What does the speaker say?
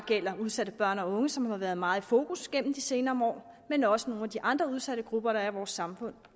udsatte børn og unge som har været meget i fokus gennem de senere år men også nogle af de andre udsatte grupper der er i vores samfund